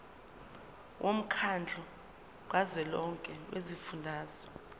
womkhandlu kazwelonke wezifundazwe